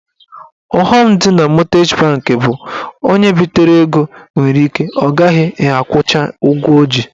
Ọghọm dị na mọtgeji banki bụ onye bitere ego nwere ike ọ ghaghị akwụcha ụgwọ ọ ji.